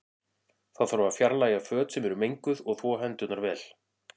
Þá þarf að fjarlæga föt sem eru menguð og þvo hendurnar vel.